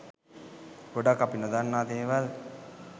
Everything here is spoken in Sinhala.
ගොඩක් අපි නොදන්නා දේවල්